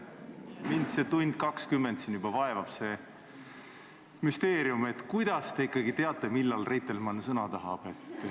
Mind vaevab juba 1 tund ja 20 minutit müsteerium, kuidas te ikkagi teate, millal Reitelmann sõna tahab.